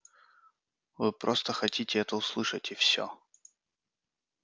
вы просто хотите это услышать и все